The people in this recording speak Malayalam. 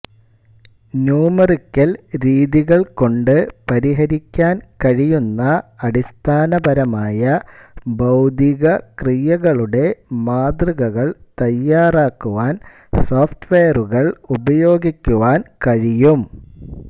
ന്യൂമെറിക്കൽ രീതികൾകൊണ്ട് പരിഹരിക്കാൻ കഴിയുന്ന അടിസ്ഥാനപരമായ ഭൌതിക ക്രിയകളുടെ മാതൃകകൾ തയ്യാറാക്കുവാൻ സോഫ്റ്റ്വെയറുകൾ ഉപയോഗിക്കുവാൻ കഴിയും